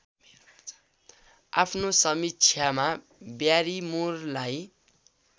आफ्नो समीक्षामा ब्यारिमोरलाई